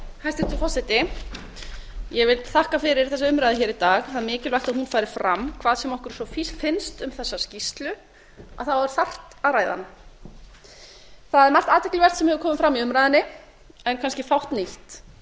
hæstvirtur forseti ég vil þakka fyrir þessa umræðu hér í dag það er mikilvægt að hún fari fram hvað sem okkur svo finnst um þessa skýrslu þá er þarft að ræða hana það er margt athyglivert sem hefur komið fram í umræðunni en kannski fátt nýtt